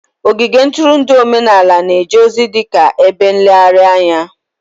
Ogige ntụrụndụ omenala na-eje ozi dị ka ebe nlegharị anya